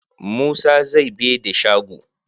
Musa zai bede shago